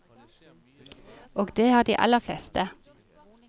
Og det har de aller fleste.